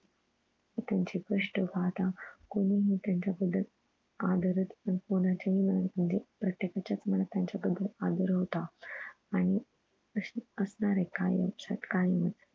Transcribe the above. त्यांची स्पष्ट गाथा कोणी हि त्याचं पुढं आदरच कोणाच्याही मनात म्हणजे प्रत्येकाचं मनात त्यांच्या बदल आदर होता आणि असणार आहे कायम लक्ष्यात कायमच